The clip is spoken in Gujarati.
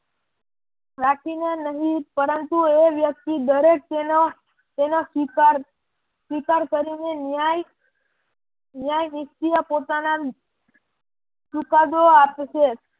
રાખી ને નહિ પરંતુ એ વ્યક્તિ દરેક તેના શિકાર કરીને ન્યાય નિષ્ક્રિય પોતાના ચુકાદો આપે છે.